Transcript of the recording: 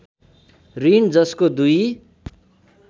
ऋण जसको दुई